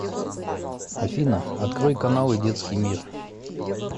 афина открой каналы детский мир